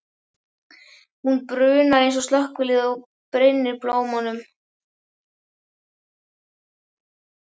Hún brunar eins og slökkvilið og brynnir blómunum.